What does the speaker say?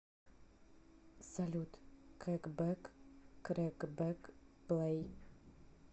салют кэкбэк крэкбэк плэй